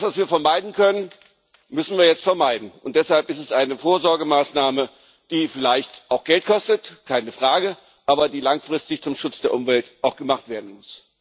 Alles was wir vermeiden können, müssen wir jetzt vermeiden. Deshalb ist es eine Vorsorgemaßnahme, die vielleicht auch Geld kostet keine Frage aber die langfristig zum Schutz der Umwelt gemacht werden muss.